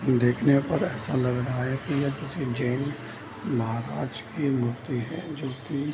देखने पर ऐसा लग रहा है की यह किसी जैन महाराज की मूर्ति है जो की --